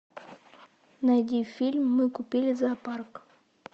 найди фильм мы купили зоопарк